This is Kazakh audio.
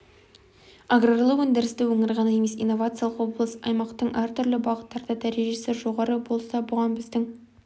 аграрлы өндірісті өңір ғана емес инновациялық облыс аймақтың әртүрлі бағыттарда дәрежесі жоғары болса бұған біздің